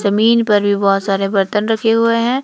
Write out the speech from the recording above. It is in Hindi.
जमीन पर भी बहोत सारे बर्तन रखे हुए हैं।